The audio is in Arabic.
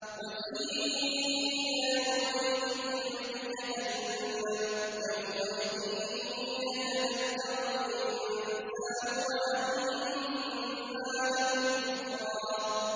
وَجِيءَ يَوْمَئِذٍ بِجَهَنَّمَ ۚ يَوْمَئِذٍ يَتَذَكَّرُ الْإِنسَانُ وَأَنَّىٰ لَهُ الذِّكْرَىٰ